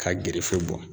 Ka gerefew bɔ